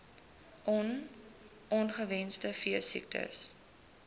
on ongewenste veesiektes